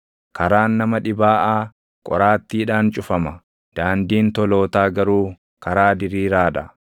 Karaan nama dhibaaʼaa qoraattiidhaan cufama; daandiin tolootaa garuu karaa diriiraa dha.